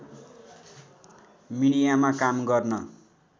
मिडियामा काम गर्न